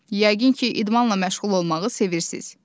Yəqin ki, idmanla məşğul olmağı sevirsiz.